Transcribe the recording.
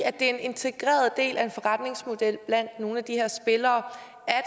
er en integreret del af en forretningsmodel blandt nogle af de her spillere